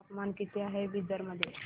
तापमान किती आहे बिदर मध्ये